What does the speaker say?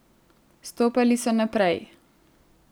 Stopali so naprej.